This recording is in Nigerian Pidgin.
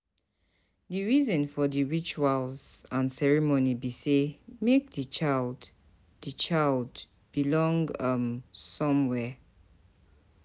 The reason for di rituals and ceremony be say make di child di child belong um somewhere